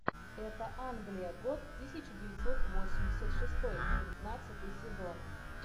это англия год тысяча девятьсот восемьдесят шестой тринадцатый сезон